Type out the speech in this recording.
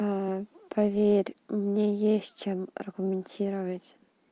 поверь мне есть чем аргументировать